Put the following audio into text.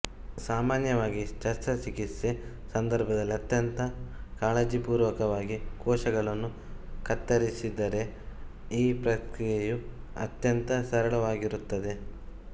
ಸಾಮಾನ್ಯವಾಗಿ ಶಸ್ತ್ರಚಿಕಿತ್ಸೆ ಸಂದರ್ಭದಲ್ಲಿ ಅತ್ಯಂತ ಕಾಳಜಿಪೂರ್ವಕವಾಗಿ ಕೋಶಗಳನ್ನು ಕತ್ತರಿಸಿದರೆ ಈ ಪ್ರಕ್ರಿಯೆಯು ಅತ್ಯಂತ ಸರಳವಾಗಿರುತ್ತದೆ